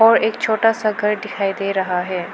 और एक छोटा सा घर दिखाई दे रहा है।